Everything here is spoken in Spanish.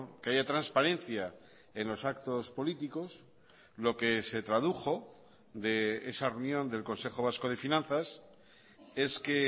que haya transparencia en los actos políticos lo que se tradujo de esa reunión del consejo vasco de finanzas es que